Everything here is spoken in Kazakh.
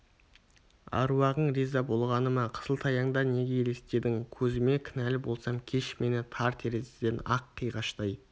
аруағың риза болғаны ма қысылтаяңда неге елестедің көзіме кінәлі болсам кеш мені тар терезеден ай қиғаштай